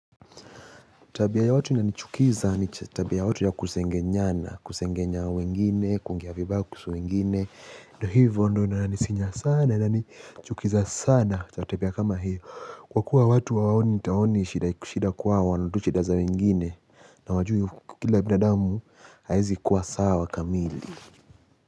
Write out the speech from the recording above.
Tabia ya watu inanichukiza ni tabia ya watu ya kusengenyana, kusengenya wengine, kuongea vibaya kuhusu wengine. Ndiyo hivyo ndiyo inanisinya sana na inanichukiza sana. Tabia kama hiyo. Kwa kuwa watu hawaoni hawaoni shida shida kwao wanaona tu shida za wengine. Na hawajui kila binadamu hawezi kuwa sawa kamili.